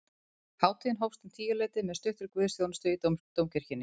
Hátíðin hófst um tíuleytið með stuttri guðsþjónustu í dómkirkjunni